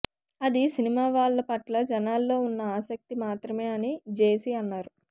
అది సినిమా వాళ్ళ పట్ల జనాల్లో ఉన్న ఆసక్తి మాత్రమే అని జేసీ అన్నారు